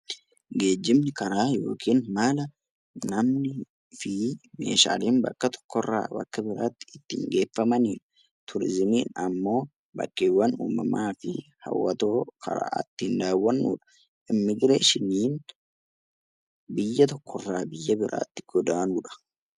Geejjibni adeemsa namni fi meeshaaleen bakka tokkorraa gara bakka biraatti ittiin geeffamanidha. Turizimiin immoo bakkeewwan uumamaa fi hawwatoo fa'aa ittiin daawwannu immiigireeshiniin biyya tokkorraa biyya biraatti godaanuudha.